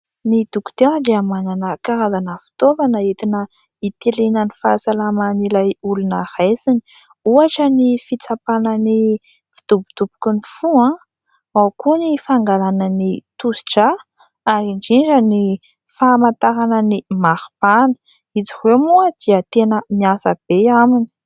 Ny dokotera dia manana karazana fitaovana entina itiliana ny fahasalaman'ilay olona raisiny. Ohatra ny fitsapana ny fidobodoboky ny fo, ao koa ny fangalana ny tosidrà ary indrindra ny famantarana ny mari-pana. Izy ireo moa dia tena miasa be aminy.